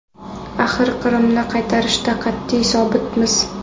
Axir Qrimni qaytarishda qat’iy sobitmiz”.